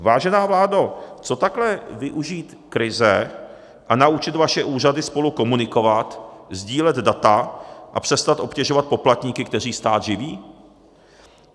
Vážená vládo, co takhle využít krize a naučit vaše úřady spolu komunikovat, sdílet data a přestat obtěžovat poplatníky, kteří stát živí?